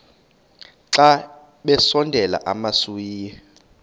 xa besondela emasuie